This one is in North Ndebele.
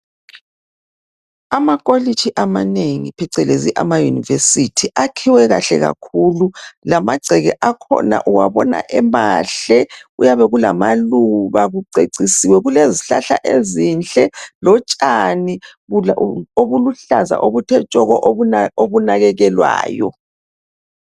Amakolitshi amanengi phecelezi ama Yunivesithi akhiwe kahle kakhulu lamagceke akhona uwabona emahle kuyabe kulamaluba kucecisiwe, kulezihlahla ezinhle lotshani obuluhlaza obuthe tshoko okunakekelwayo.